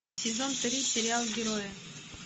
сезон три сериал герои